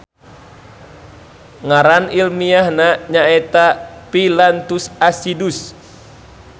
Ngaran ilmiahna nyaeta Phyllanthus acidus.